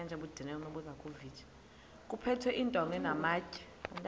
kuphethwe iintonga namatye